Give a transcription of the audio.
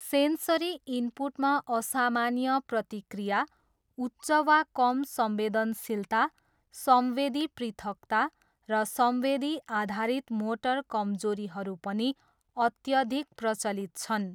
Sensory इनपुटमा असामान्य प्रतिक्रिया, उच्च वा कम संवेदनशीलता, संवेदी पृथकता, र संवेदी आधारित मोटर कमजोरीहरू पनि अत्यधिक प्रचलित छन्।